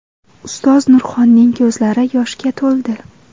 Ustoz Nurxonning ko‘zlari yoshga to‘ldi.